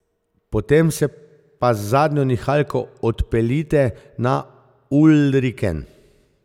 Potem se pa z zadnjo nihalko odpeljite na Ulriken.